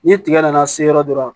Ni tigɛ nana se yɔrɔ dɔrɔnw